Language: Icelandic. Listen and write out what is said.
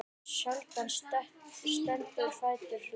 Sjaldan er stuttur fundur langur.